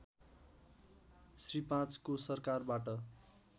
श्री ५ को सरकारबाट